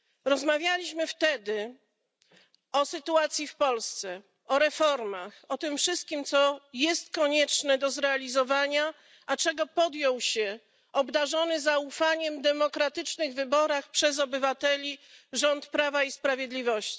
Rozmawialiśmy wtedy o sytuacji w Polsce, o reformach, o tym wszystkim co jest konieczne do zrealizowania, a czego podjął się obdarzony zaufaniem w demokratycznych wyborach przez obywateli rząd Prawa i Sprawiedliwości.